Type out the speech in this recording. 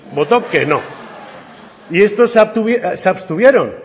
votó que no y estos se abstuvieron